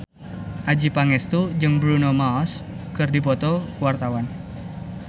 Adjie Pangestu jeung Bruno Mars keur dipoto ku wartawan